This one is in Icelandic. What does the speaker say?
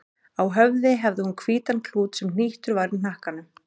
Á höfði hafði hún hvítan klút sem hnýttur var í hnakkanum.